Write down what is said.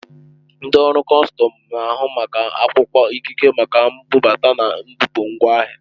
Ndị ọrụ kọstọm na-ahụ maka akwụkwọ ikike maka mbubata na mbupụ ngwa ahịa.